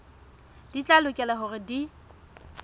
di tla lokela hore di